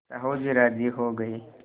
साहु जी राजी हो गये